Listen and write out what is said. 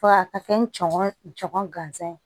Fo ka taa kɛ n cɔn gansan ye